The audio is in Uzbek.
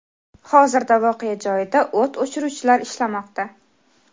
Hozirda voqea joyida o‘t o‘chiruvchilar ishlamoqda.